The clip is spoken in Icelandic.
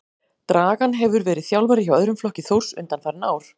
Dragan hefur verið þjálfari hjá öðrum flokki Þórs undanfarin ár.